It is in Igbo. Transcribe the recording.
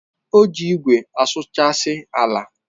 O ji igwe asụchasi ala.